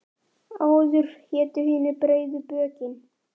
Áður hétu hinir breiðu bökin.